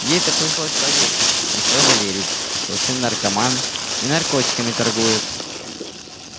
ей-то пришлось поверить не в то же верить что сын наркоман и наркотиками торгует